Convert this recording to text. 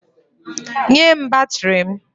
Nye m batrị m!